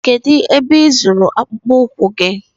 Kedụ ebe ị zụrụ akpụkpụ ụkwụ gị?